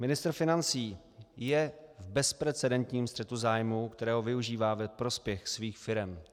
Ministr financí je v bezprecedentním střetu zájmů, kterého využívá ve prospěch svých firem.